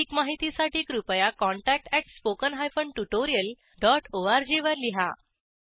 अधिक माहितीसाठी कृपया contactspoken tutorialorg वर लिहा